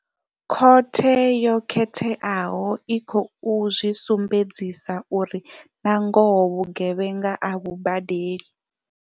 Khothe yo khetheaho i khou zwi sumbedzisa uri nangoho vhugevhenga a vhu badeli.